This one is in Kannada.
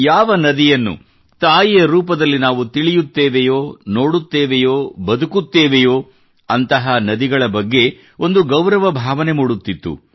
ಯಾವ ನದಿಯನ್ನು ತಾಯಿಯ ರೂಪದಲ್ಲಿ ನಾವು ತಿಳಿಯುತ್ತೇವೆಯೋ ನೋಡುತ್ತೇವೆಯೋ ಬದುಕುತ್ತೇವೆಯೋ ಅಂತಹ ನದಿಗಳ ಬಗೆಗೆ ಒಂದು ಗೌರವ ಭಾವನೆ ಮೂಡುತ್ತಿತ್ತು